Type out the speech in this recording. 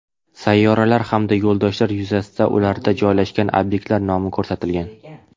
Sayyoralar hamda yo‘ldoshlar yuzasida ularda joylashgan obyektlar nomi ko‘rsatilgan.